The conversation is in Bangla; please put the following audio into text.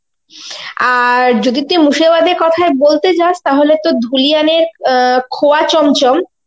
আর যদি তুই মুর্শিদাবাদ এর কোথায় বলতে যাস তাহলে তো ধুলিয়ান এর অ্যাঁ খোয়া চমচম